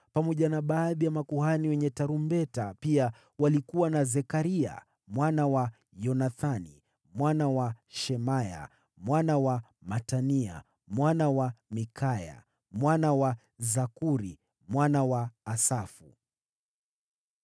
pamoja na baadhi ya makuhani wenye tarumbeta, na pia walikuwa na Zekaria mwana wa Yonathani, mwana wa Shemaya, mwana wa Matania, mwana wa Mikaya, mwana wa Zakuri, mwana wa Asafu,